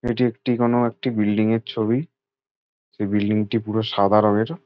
এটি একটি কোনো একটি বিল্ডিং -এর ছবি। সেই বিল্ডিং -টি পুরো সাদা রঙের ।